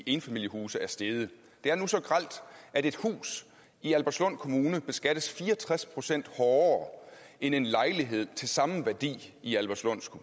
enfamiliehuse er steget det er nu så grelt at et hus i albertslund kommune beskattes fire og tres procent hårdere end en lejlighed til samme værdi i albertslund